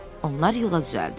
Onlar yola düzəldilər.